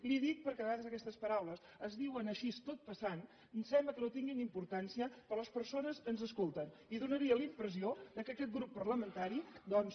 li ho dic perquè a vegades aquestes paraules es diuen així tot passant sembla que no tinguin importància però les persones ens escolten i faria la impressió que aquest grup parlamentari doncs